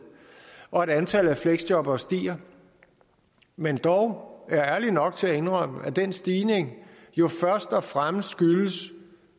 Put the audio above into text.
og at antallet af fleksjobbere stiger men er dog ærlige nok til at indrømme at den stigning jo først og fremmest skyldes